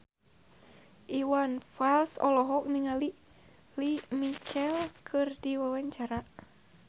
Iwan Fals olohok ningali Lea Michele keur diwawancara